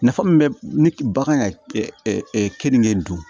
Nafa min bɛ ne ba kan ka keninge dun